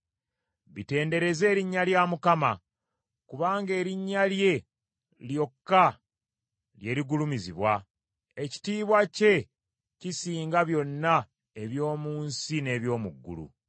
Bitendereze erinnya lya Mukama , kubanga erinnya lye lyokka lye ligulumizibwa; ekitiibwa kye kisinga byonna eby’omu nsi n’eby’omu ggulu.